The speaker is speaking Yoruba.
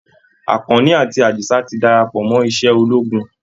Àkànní àti Àdìsá ti darapọ̀ mọ́ iṣẹ́ ológun